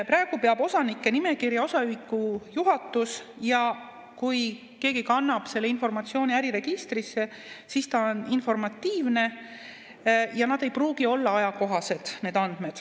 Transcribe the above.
Praegu peab osanike nimekirja osaühingu juhatus ja kui keegi kannab selle informatsiooni äriregistrisse, siis see on informatiivne ja need andmed ei pruugi olla ajakohased.